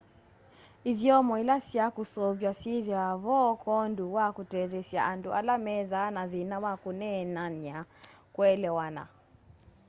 ithyomo ila sya kũseũv'wa syĩthĩwa vo kwoondũ wa kũtetheesya andũ ala methaa na thĩna wa kũneenanya kũelewana